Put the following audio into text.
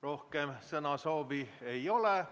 Rohkem sõnasoovi ei ole.